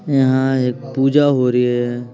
यहाँ एक पूजा हो रही हैं ।